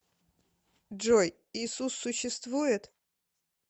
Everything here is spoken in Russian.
джой иисус существует